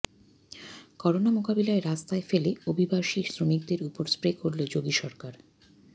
corona মোকাবিলায় রাস্তায় ফেলে অভিবাসী শ্রমিকদের উপর স্প্রে করল যোগী সরকার